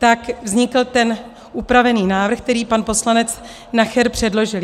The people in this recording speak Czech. Tak vznikl ten upravený návrh, který pan poslanec Nacher předložil.